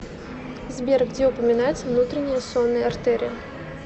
сбер где упоминается внутренняя сонная артерия